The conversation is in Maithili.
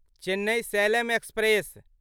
चेन्नई सलेम एक्सप्रेस